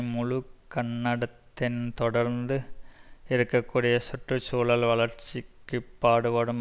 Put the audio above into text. முழுகண்ணடத்தின் தொடர்ந்து இருக்க கூடிய சுற்று சூழல் வளர்ச்சிக்கு பாடுபடும்